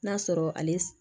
N'a sɔrɔ ale